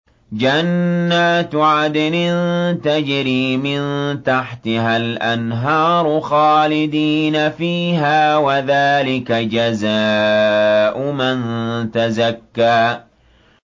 جَنَّاتُ عَدْنٍ تَجْرِي مِن تَحْتِهَا الْأَنْهَارُ خَالِدِينَ فِيهَا ۚ وَذَٰلِكَ جَزَاءُ مَن تَزَكَّىٰ